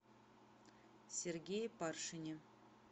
сергее паршине